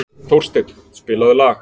Þórsteinn, spilaðu lag.